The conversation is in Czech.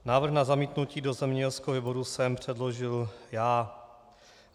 Návrh na zamítnutí do zemědělského výboru jsem předložil já.